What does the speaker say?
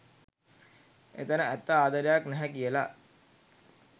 එතැන ඇත්ත ආදරයක් නැහැ කියලා.